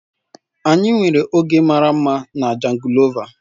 Anyị nwere oge mara mma na jangolova.